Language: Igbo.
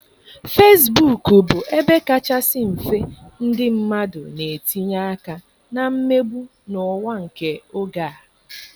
Fesibuk bụ ebe kachasị mfe ndị mmadụ na-etinye aka na mmegbu n'ụwa nke oge a.